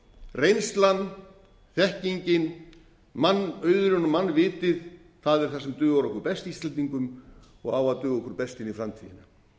reynslan þekkingin mannauðurinn og mannvitið það er það sem dugar okkur best íslendingum og á að duga okkur best inn í framtíðina þegar